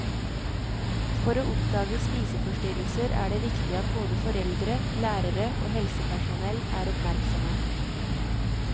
For å oppdage spiseforstyrrelser er det viktig at både foreldre, lærere og helsepersonell er oppmerksomme.